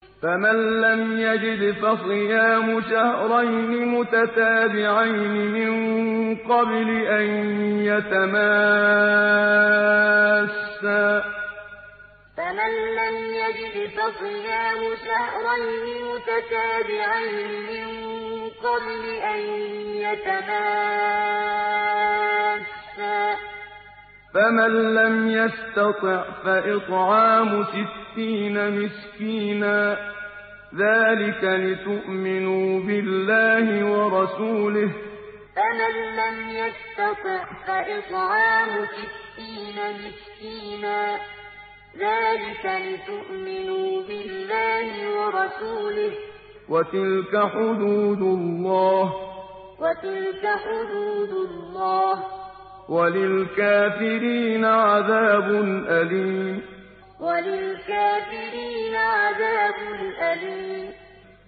فَمَن لَّمْ يَجِدْ فَصِيَامُ شَهْرَيْنِ مُتَتَابِعَيْنِ مِن قَبْلِ أَن يَتَمَاسَّا ۖ فَمَن لَّمْ يَسْتَطِعْ فَإِطْعَامُ سِتِّينَ مِسْكِينًا ۚ ذَٰلِكَ لِتُؤْمِنُوا بِاللَّهِ وَرَسُولِهِ ۚ وَتِلْكَ حُدُودُ اللَّهِ ۗ وَلِلْكَافِرِينَ عَذَابٌ أَلِيمٌ فَمَن لَّمْ يَجِدْ فَصِيَامُ شَهْرَيْنِ مُتَتَابِعَيْنِ مِن قَبْلِ أَن يَتَمَاسَّا ۖ فَمَن لَّمْ يَسْتَطِعْ فَإِطْعَامُ سِتِّينَ مِسْكِينًا ۚ ذَٰلِكَ لِتُؤْمِنُوا بِاللَّهِ وَرَسُولِهِ ۚ وَتِلْكَ حُدُودُ اللَّهِ ۗ وَلِلْكَافِرِينَ عَذَابٌ أَلِيمٌ